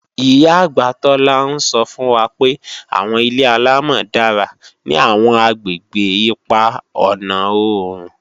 Ìyá-àgbà Tola ń sọ́ fún wa pé àwọn ilé-àlámọ̀ dára ní àwọn àgbègbè ipa ọ̀na oòrùn